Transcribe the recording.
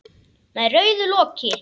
Með rauðu loki.